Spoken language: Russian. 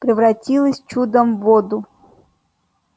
превратилась чудом в воду